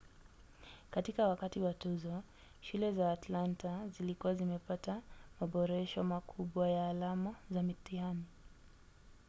katika wakati wa tuzo shule za atlanta zilikuwa zimepata maboresho makubwa ya alama za mtihani